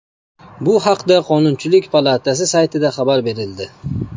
Bu haqda Qonunchilik palatasi saytida xabar berildi .